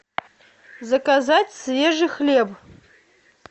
заказать свежий хлеб